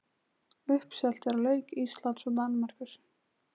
Uppselt er á leik Íslands og Danmerkur.